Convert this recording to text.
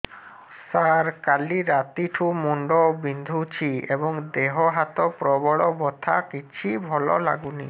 ସାର କାଲି ରାତିଠୁ ମୁଣ୍ଡ ବିନ୍ଧୁଛି ଏବଂ ଦେହ ହାତ ପ୍ରବଳ ବଥା କିଛି ଭଲ ଲାଗୁନି